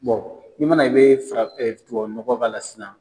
i mana i be farafin tubabu nɔgɔ k'a la sisan